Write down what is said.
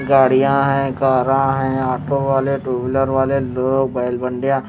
गाड़ियां हैं कारा हैं ऑटो वाले टू व्हीलर वाले लोग बैल मंडिया--